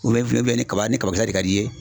ni kaba ni kaba de ka di ye.